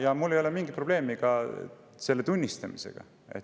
Ja mul ei ole mingit probleemi selle tunnistamisega.